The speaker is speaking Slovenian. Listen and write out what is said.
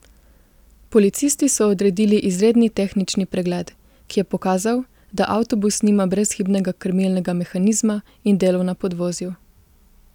Policisti so odredili izredni tehnični pregled, ki je pokazal, da avtobus nima brezhibnega krmilnega mehanizma in delov na podvozju.